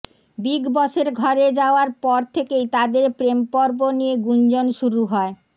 big বসের ঘরে যাওয়ার পর থেকেই তাঁদের প্রেমপর্ব নিয়ে গুঞ্জন শুরু হয়